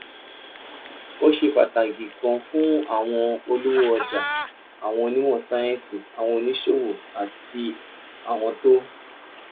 ó ṣe pàtàkì gan-an fún àwọn olówó ọjà àwọn onímọ̀ sáyẹ́ǹsì àwọn oníṣòwò àti àwọn tó